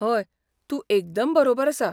हय, तूं एकदम बरोबर आसा.